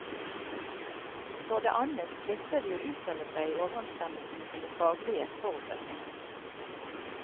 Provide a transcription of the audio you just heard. For det annet plikter de å uttale seg i overensstemmelse med sine faglige forutsetninger.